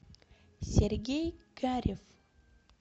сергей карев